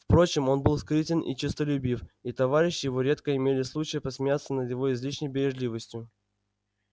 впрочем он был скрытен и честолюбив и товарищи его редко имели случай посмеяться над его излишней бережливостью